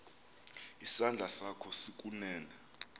isandla sakho sokunene